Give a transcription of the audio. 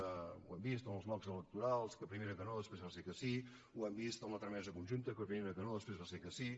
ho hem vist en els blocs electorals que primer era que no després va ser que sí ho hem vist en la tramesa conjunta que primer era que no després va ser que sí